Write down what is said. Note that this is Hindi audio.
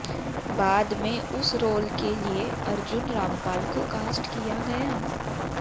बाद में उस रोल के लिए अर्जुन रामपाल को कास्ट किया गया